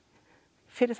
fyrir það